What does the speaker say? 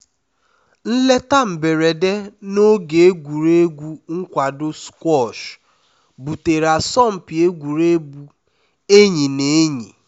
nleta mberede na oge egwuregwu nkwado squash butere asọmpi egwuregwu enyi na enyi